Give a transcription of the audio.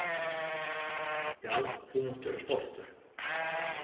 Já, þú mátt vera stoltur.